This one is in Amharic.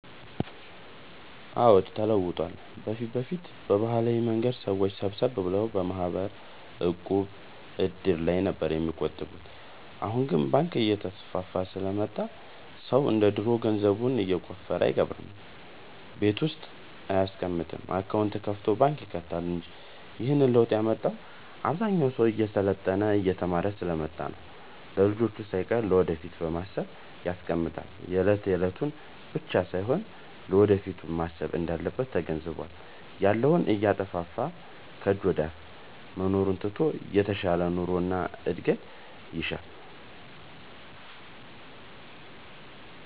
አዎድ ተለውጧል በፊት በፊት በባህላዊ መንገድ ሰዎች ሰብሰብ ብለው በማህበር፣ ዕቁብ፣ እድር ላይ ነበር የሚቆጥቡት አሁን ግን ባንክ እየተስፋፋ ስለመጣ ሰው እንደ ድሮ ገንዘቡን የቆፈረ አይቀብርም ቤት ውስጥ አይያስቀምጥም አካውንት ከፋቶ ባንክ ይከታል እንጂ ይህንንም ለውጥ ያመጣው አብዛኛው ሰው እየሰለጠነ የተማረ ስሐ ስለመጣ ነው። ለልጅቹ ሳይቀር ለወደፊት በማሰብ ያስቀምጣል የለት የለቱን ብቻ ሳይሆን ለወደፊቱም ማሰብ እንዳለበት ተገንዝቧል። ያለውን እያጠፋፋ ከጅ ወደአፋ መኖሩን ትቶ የተሻለ ኑሮ እድገት ይሻል።